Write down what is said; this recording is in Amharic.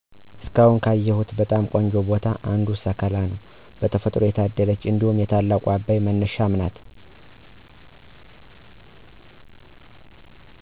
እስካሁን ካየሁት በጣም ቆንጆ ቦታዎች አንዱ ሰከላ ነው በተፈጥሮ ታደለች እንዲሁም የታላቁ አባይ መነሻም ናት።